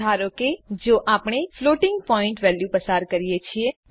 ધારો કે જો આપણે ફ્લોટિંગ પોઈન્ટ વેલ્યુઓ પસાર કરીએ છીએ